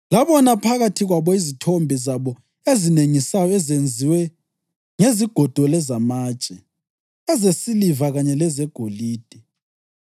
Labona phakathi kwabo izithombe zabo ezinengisayo ezenziwe ngezigodo lezamatshe, ezesiliva kanye lezegolide.